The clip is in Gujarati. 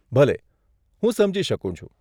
ભલે, હું સમજી શકું છું.